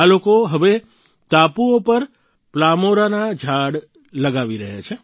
આ લોકો હવે આ ટાપુઓ પર પલ્મોરાના ઝાડ લગાવી રહ્યા છે